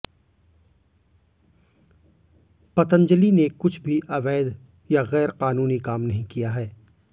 पतंजलि ने कुछ भी अवैध या गैरकानूनी काम नहीं किया है